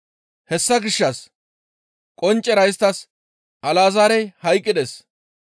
Hessa gishshas qonccera isttas, «Alazaarey hayqqides.